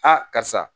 karisa